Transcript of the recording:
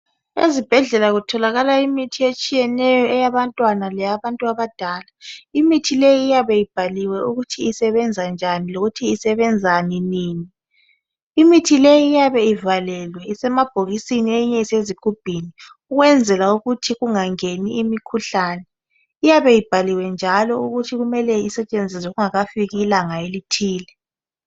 ezibhedlela kutholakala iithi etshiyeneyo eyabantwana leabantu abadala imithi leyi iyabe ibhaliwe ukuthi isebenzanjani lokuthi isebenzani imithi leyi iyabe ialelwe isemabhokisini eyinye isezigubhini ukwenzela ukuthi kungangeni imikhuhlane iyabe ibhaliwe njalo ukuthi kumele isetshenziswe kungakafiki ilanga elithile